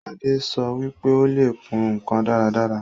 Adé sọ wípé Ó le kùn ǹkan dáradára